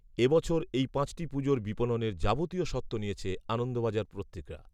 এ বছর এই পাঁচটি পুজোর বিপণনের যাবতীয় স্বত্ব নিয়েছে আনন্দবাজার পত্রিকা‌